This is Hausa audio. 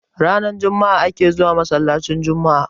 ranar Juma'a ake zuwa masallacin Juma'a